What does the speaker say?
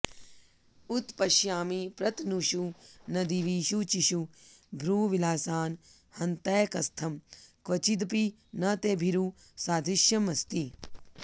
उत्पश्यामि प्रतनुषु नदीवीचिषु भ्रूविलासान् हन्तैकस्थं क्वचिदपि न ते भीरु सादृश्यमस्ति